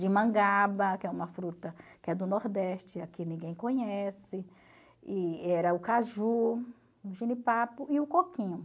de mangaba, que é uma fruta que é do Nordeste, aqui ninguém conhece, e era o caju, o jenipapo e o coquinho.